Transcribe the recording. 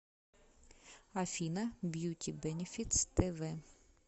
афина бьюти бэнифитс тэ вэ